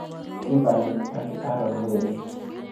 Kimberly ak Aron Werit.